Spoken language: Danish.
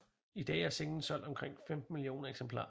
I dag har singlen solgt omkring 15 millioner eksemplarer